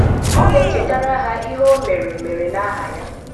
Ọ na-echetara ha ihe O mere mere n’aha ha.